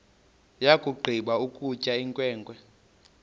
yakugqiba ukutya inkwenkwe